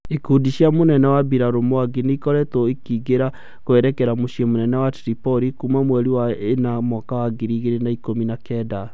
Ikundi cia mũnene wa mbirarũ Mwangi nĩikoretwo ikĩingĩra kwerekera mũciĩ munene wa Tripoli kuma mweri wa ĩna mwaka wa ngiri igĩrĩ na ikũmi na kenda